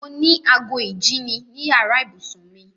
Mo ní ago ìjíni ní yàrá ìbùsùn mi.